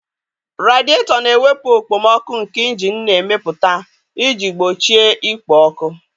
Radịetọ na-ewepụ okpomọkụ nke injin na-emepụta iji gbochie ikpo ọkụ.